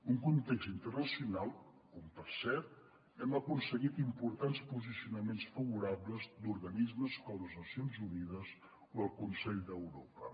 un context internacional on per cert hem aconseguit importants posicionaments favorables d’organismes com les nacions unides o el consell d’europa